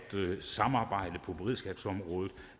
samarbejdet på beredskabsormrådet